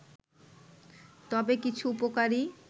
তবে কিছু উপকারী